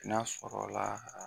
N'a sɔrɔ la